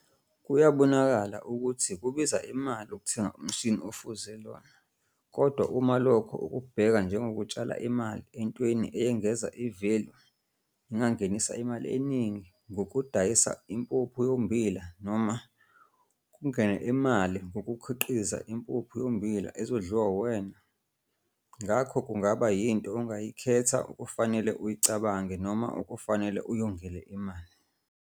Kuyabonakala ukuthi kubiza imali ukuthenga umshini ofuze lona kodwa uma loko ukubheka njengokutshala imali entweni eyengeza i-value nengangenisa imali eningi ngokudayisa umpuphu yommbila noma kongene imali ngokukhiqiza impuphu yommbila ezodliwa uwena, ngakho kungaba yinto ongayikhetha okufanele uyicabange noma okufanele uyongele imali.